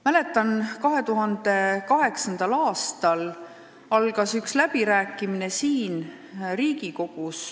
Mäletan, et 2008. aastal algasid siin Riigikogus ühed läbirääkimised.